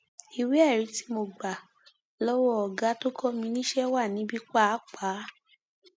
ìwéẹrí tí mo gbà lọwọ ọgá tó kọ mi níṣẹ wà níbí pàápàá